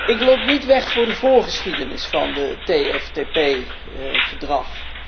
Ik loop niet weg voor de voorgeschiedenis van het TFTP verdrag.